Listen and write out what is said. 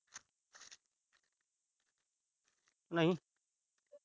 ਨਹੀਂ।